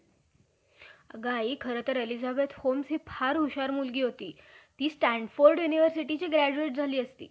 इंग्रजी वैगेरे लोकांतील न्यायाची ब्राह्मणातील पुस्तक कर्त्यांच्या बाल~ अं लबाड्या जाणून दास करण्याची संधी केली. ब्रम्हा हा,